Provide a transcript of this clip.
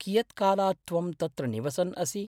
कियत् कालात् त्वं तत्र निवसन् असि?